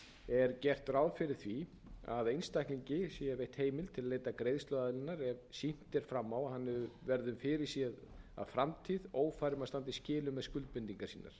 er gert ráð fyrir því að einstaklingi sé veitt heimild til að leita greiðsluaðlögunar ef sýnt er fram á að hann verður fyrirséð um framtíð ófær um að standa í skilum með skuldbindingar